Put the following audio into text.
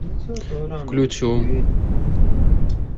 включу